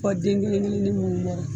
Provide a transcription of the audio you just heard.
Fɔ den kelen kelennin munnu bɔrɔ a la.